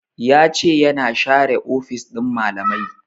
Ya ce ya na share ofis ɗin malamai